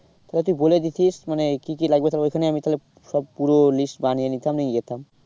তাহলে তুই বলে দিতিস মানে কি কি লাগবে তো ওইখানে আমি তাহলে সব পুরো list বানিয়ে নিতাম নিয়ে যেতাম।